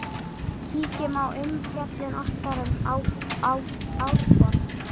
Kíkjum á umfjöllun okkar um Árborg.